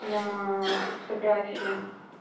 на фотографии